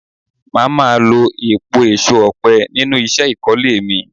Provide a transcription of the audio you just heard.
Máa má lo èèpo èso ọ̀pẹ nínú isẹ́ ìkólé mi.